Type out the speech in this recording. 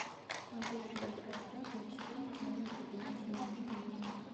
повысь яркость бра для чтения в моем кабинете на семь минут